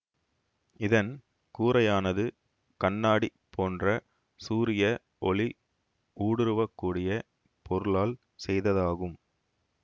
இதன் கூரையானது கண்ணாடி போன்ற சூரிய ஒளி ஊடுருவ கூடிய பொருளால் செய்ததாகும்